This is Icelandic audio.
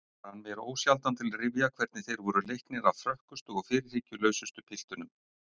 Rann mér ósjaldan til rifja hvernig þeir voru leiknir af frökkustu og fyrirhyggjulausustu piltunum.